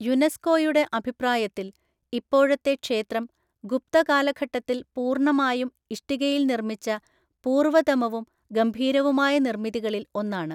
യുനെസ്കോയുടെ അഭിപ്രായത്തിൽ, ഇപ്പോഴത്തെ ക്ഷേത്രം ഗുപ്ത കാലഘട്ടത്തിൽ പൂർണ്ണമായും ഇഷ്ടികയിൽ നിർമ്മിച്ച പൂര്‍വതമവും ഗംഭീരവുമായ നിർമ്മിതികളിൽ ഒന്നാണ്.